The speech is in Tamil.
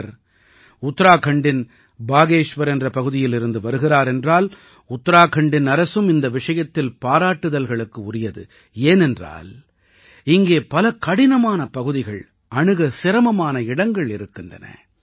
இவர் உத்தராகண்டின் பாகேஷ்வர் என்ற பகுதியில் இருந்து வருகிறார் என்றால் உத்தராகண்டின் அரசும் இந்த விஷயத்தில் பாராட்டுதல்களுக்கு உரியது ஏனென்றால் இங்கே பல கடினமான பகுதிகள் அணுக சிரமமான இடங்கள் இருக்கின்றன